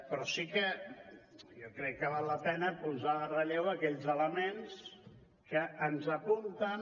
però sí que jo crec que val la pena posar en relleu aquells elements que ens apunten